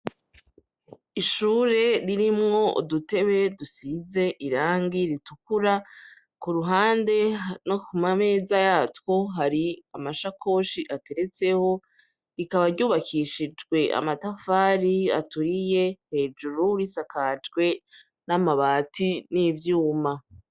Ishure ririmwo udutebe dusize irangi ritukura ku ruhande no ku mameza yatwo hari amashakoshi ateretseho rikaba ryubakishijwe amatafari aturiye hejuru risakajwe n'amabati n'ivyuma .